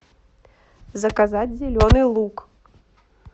заказать зеленый лук